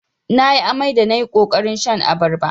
Nayi amai da nayi ƙoƙarin shan abarba.